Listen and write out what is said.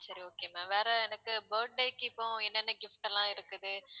சரி okay ma'am வேற எனக்கு birthday க்கு இப்போ என்னென்ன gift லாம் இருக்குது